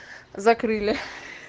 закрыли